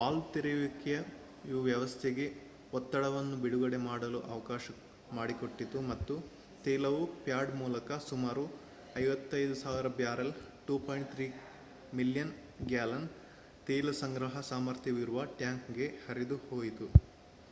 valve ತೆರೆಯುವಿಕೆಯು ವ್ಯವಸ್ಥೆಗೆ ಒತ್ತಡವನ್ನು ಬಿಡುಗಡೆ ಮಾಡಲು ಅವಕಾಶ ಮಾಡಿಕೊಟ್ಟಿತು ಮತ್ತು ತೈಲವು ಪ್ಯಾಡ್ ಮೂಲಕ ಸುಮಾರು 55,000 ಬ್ಯಾರೆಲ್ 2.3 ಮಿಲಿಯನ್ ಗ್ಯಾಲನ್ ತೈಲ ಸಂಗ್ರಹ ಸಾಮರ್ಥ್ಯವಿರುವ ಟ್ಯಾಂಕ್‌ಗೆ ಹರಿದುಹೋಯಿತು